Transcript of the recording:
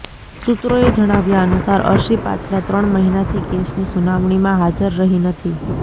સૂત્રોએ જણાવ્યા અનુસાર અર્શી પાછલાં ત્રણ મહિનાથી કેસની સુનાવણીમાં હાજર રહી નથી